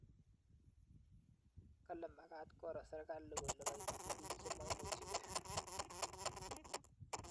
Kale magat koro serkali kole kaityi biik chemaimuchigei